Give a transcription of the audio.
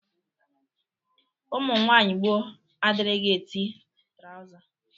Ụmụnwaayị gboo adịrịghi eti trawza.